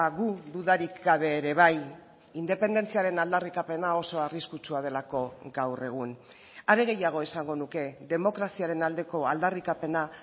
gu dudarik gabe ere bai independentziaren aldarrikapena oso arriskutsua delako gaur egun hare gehiago esango nuke demokraziaren aldeko aldarrikapena